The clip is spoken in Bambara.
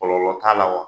Kɔlɔlɔ t'a la wa